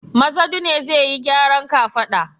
Mazadu ne zai yi gyaran kafada.